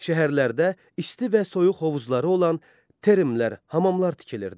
Şəhərlərdə isti və soyuq hovuzları olan termlər, hamamlar tikilirdi.